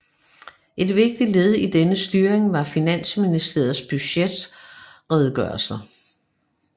Et vigtigt led i denne styring var Finansministeriets budgetredegørelser